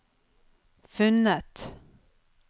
funnet